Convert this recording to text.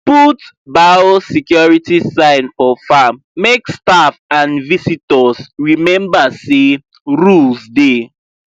put biosecurity sign for farm make staff and visitors remember say rules dey